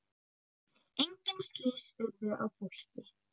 Engin slys urðu á fólki.